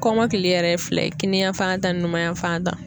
Kɔmɔkili yɛrɛ ye fila ye: kiniyan fan ta ni numanya fan ta.